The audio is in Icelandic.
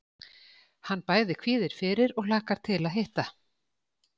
Hann bæði kvíðir fyrir og hlakkar til að hitta